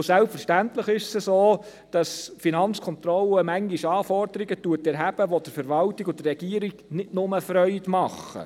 Und selbstverständlich ist es so, dass die FK manchmal Anforderungen erhebt, die der Verwaltung und der Regierung nicht nur Freude machen.